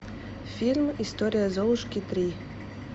фильм история золушки три